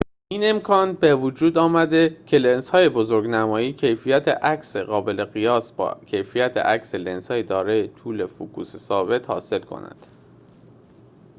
این امکان بوجود آمده که لنزهای بزرگ‌نمایی کیفیت عکسی قابل قیاس با کیفیت عکس لنزهای دارای طول فوکوس ثابت حاصل کنند